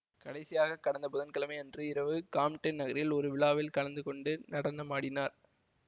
கடைசியாக கடந்த புதன்கிழமை அன்று இரவு காம்டென் நகரில் ஒரு விழாவில் கலந்து கொண்டு நடனமாடினார்